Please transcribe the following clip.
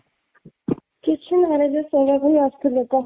କିଛି ନାହିଁରେ just ଶୋଇବା କୁ ହିଁ ଆସିଥିଲି କହ